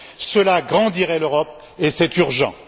Cela grandirait l'Europe, et c'est urgent!